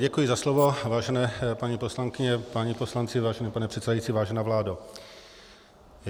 Děkuji za slovo, vážené paní poslankyně, páni poslanci, vážený pane předsedající, vážená vládo.